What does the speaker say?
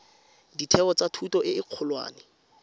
ditheo tsa thuto e kgolwane